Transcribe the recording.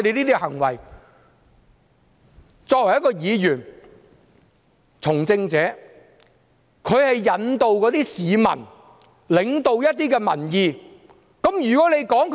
作為一名議員、一位從政者，應該引導一些市民，領導一些民意。